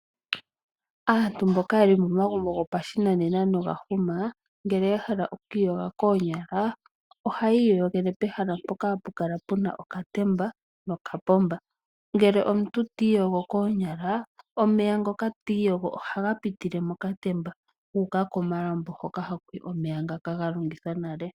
Aantu mboka yeli momagumbo gopashinanena noga huma ngele yahala okwiiyoga koonyala ohayii yogele pehala mpoka puna okatemba noka pomba. Ngele omuntu tiiyogo koonyala omeya ngoka tiiyogo ohaga pitile kokatemba guuka komalambo ngoka hakuyi omeya ngoka ga longithwa nale.